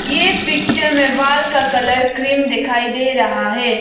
ये पिक्चर मे वॉल का कलर क्रीम दिखाई दे रहा है।